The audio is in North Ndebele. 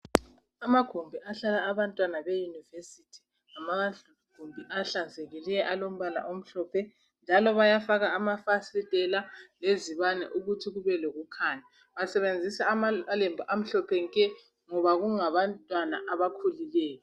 Amagumbi ahlala abantwana be yunivesithi ngamagumbi ahlanzekileyo alombala omhlophe njalo bayafaka amafasitela lezibane ukuthi kube lokukhanya basebenzisa amalembu amhlophe nke ngoba kungabantwana abakhulileyo.